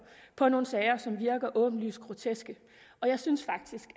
på nogle sager som virker åbenlyst groteske og jeg synes faktisk